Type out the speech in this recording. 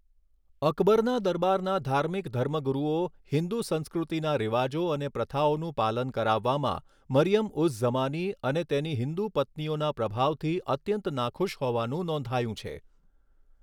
અકબરના દરબારના ધાર્મિક ધર્મગુરૂઓ હિન્દુ સંસ્કૃતિના રિવાજો અને પ્રથાઓનું પાલન કરાવવામાં મરિયમ ઉઝ ઝમાની અને તેની હિન્દુ પત્નીઓના પ્રભાવથી અત્યંત નાખુશ હોવાનું નોંધાયું છે.